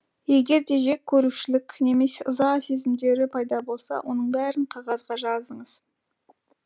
егерде жек көрушілік немесе ыза сезімдері пайда болса оның бәрін қағазға жазыңыз